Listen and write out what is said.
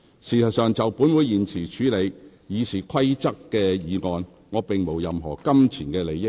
事實上，就本會現時處理修訂《議事規則》的議案，我並無任何金錢利益。